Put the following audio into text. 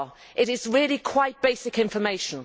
It is really quite basic information.